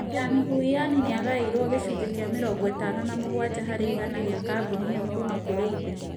Yan Huiyan nĩ aagaĩirũo gĩcunjĩ kĩa 57 harĩ igana kĩa kambuni ĩyo kuuma kũrĩ ithe.